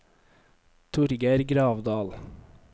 Torgeir Gravdal